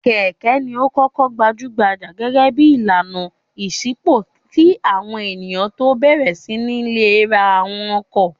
Kẹ̀kẹ́ ni ó kọ́kọ́ gbajú-gbajà gẹ́gẹ́ bí ìlànà ìṣínípò kí àwọn ènìyàn tó bẹ̀rẹ̀ sí ní le ra àwọn ọkọ̀.